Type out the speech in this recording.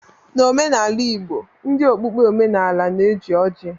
N'omenala Igbo ndị okpukpe omenaala na-eji ọjị